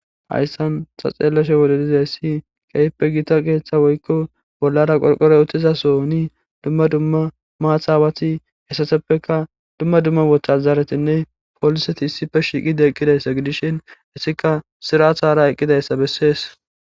Hayssan xa xeellashe wodedizay ssi keype giita keeththa woykko bollara qolqoroy uttizasoni dumma dumma maathawati hessaseppeka dumma dumma wocha zaaretinne pooliseti issife shiiqide eqqidayssa gidishin issika sirathara eqqidayssa bessees.